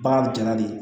Bagan jala de ye